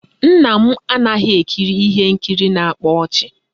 Nna m anaghị ekiri ihe nkiri na-akpa ọchị